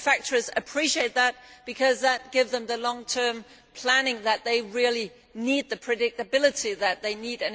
Many manufacturers appreciate that because that gives them the long term planning that they really need, the predictability that they need.